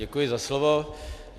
Děkuji za slovo.